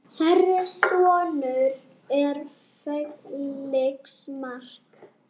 Þeirra sonur er Felix Mark.